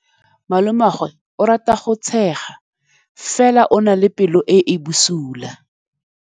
Malomagwe o rata go tshega fela o na le pelo e e bosula.